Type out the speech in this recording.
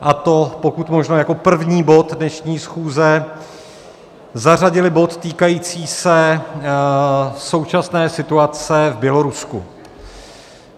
a to pokud možno jako první bod dnešní schůze, zařadili bod týkající se současné situace v Bělorusku.